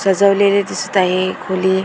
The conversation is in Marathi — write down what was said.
सजवलेले दिसत आहे खोली.